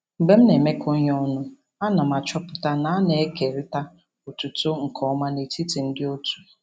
Mgbe m na-emekọ ihe ọnụ, a na m achọpụta na a na-ekerịta otuto nke ọma n'etiti ndị otu.